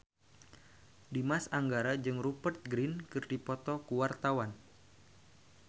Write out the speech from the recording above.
Dimas Anggara jeung Rupert Grin keur dipoto ku wartawan